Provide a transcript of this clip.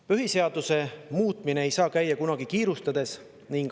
Põhiseaduse muutmine ei saa kunagi käia kiirustades.